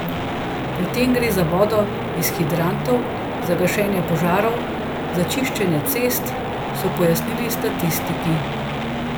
Pri tem gre za vodo iz hidrantov, za gašenje požarov, za čiščenje cest, so pojasnili statistiki.